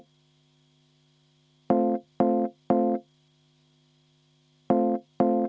Vaheaeg kümme minutit.